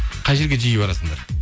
қай жерге жиі барасыңдар